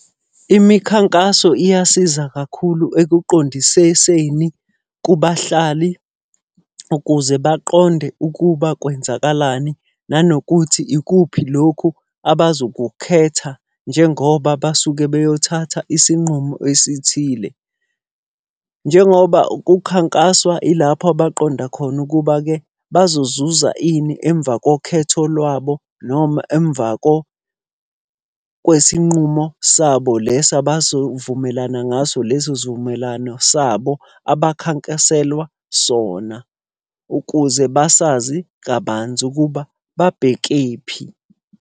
Imikhankaso iyasiza kakhulu ekuqondisiseni kubahlali ukuze baqonde ukuba kwenzakalani nanokuthi ikuphi lokhu abazokukhetha njengoba basuke beyothatha isinqumo esithile. Njengoba kukhankaswa ilapho abaqonda khona ukuba-ke bazozuza ini emva kokhetho lwabo noma emva kwesinqumo sabo lesi abazovumelana ngaso leso sivumelwano sabo abakhankaselwa sona. Ukuze basazi kabanzi ukuba babhekephi.